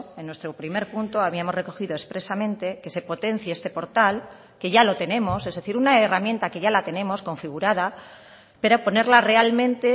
en nuestro primer punto habíamos recogido expresamente que se potencie este portal que ya lo tenemos es decir una herramienta que ya la tenemos configurada pero ponerla realmente